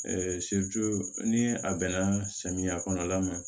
ni a bɛnna samiya kɔnɔla ma